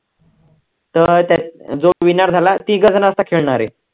तर त्यात जो winner झाला, तिघं जण असतात खेळणारे